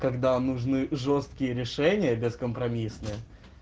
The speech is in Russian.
когда нужны жёсткие решения бескомпромиссные